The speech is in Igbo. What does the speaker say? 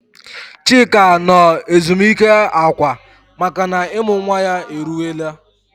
Chika nọ ezumike akwa makana ịmụ nwa ya eruwela.